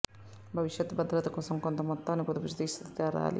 భవిష్యత్తు భద్రత కోసం కొంత మొత్తాన్ని పొదుపు చేసి తీరాలి